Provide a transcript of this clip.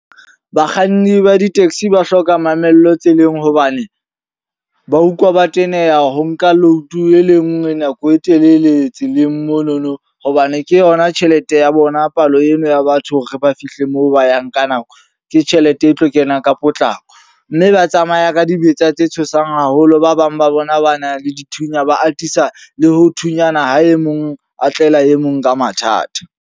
Bakganni ba di-taxi ba hloka mamello tseleng. Hobane ba utlwa ba teneha ho nka load e le nngwe nako e telele tseleng monono. Hobane ke yona tjhelete ya bona palo eno ya batho re ba fihle moo ba yang ka nako. Ke tjhelete e tlo kena ka potlako. Mme ba tsamaya ka dibetsa tse tshosang haholo. Ba bang ba bona ba na le dithunya. Ba atisa le ho thunyana ha e mong atlehela e mong ka mathata.